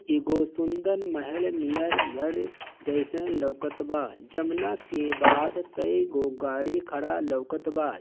एगो सुन्दर महल नियर घर जैसन लोकत बा जवना के बाद कइ गो गाड़ी खड़ा लोकत बा।